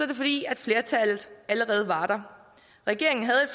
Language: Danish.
det fordi flertallet allerede var der regeringen havde